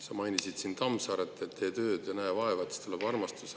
Sa mainisid siin Tammsaaret, et tee tööd ja näe vaeva, siis tuleb armastus.